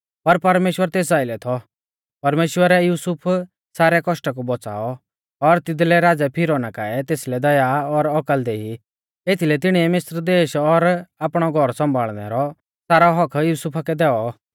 परमेश्‍वरै युसुफ सारै कौष्टा कु बौच़ाऔ और तिदलै राज़ै फिरौना काऐ तेसलै दया और औकल देई एथीलै तिणीऐ मिस्र देश और आपणौ घौर सौम्भाल़णै रौ सारौ हक्क्क युसुफा कै दैऔ